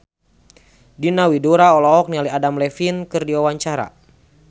Diana Widoera olohok ningali Adam Levine keur diwawancara